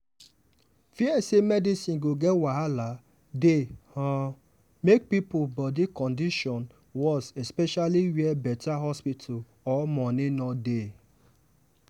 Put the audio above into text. fear say medicine go get wahala dey um make people body condition worse especially where better hospital or money no dey.